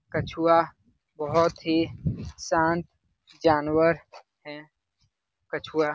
कछुआ बहुत ही शांत जानवर है कछुआ --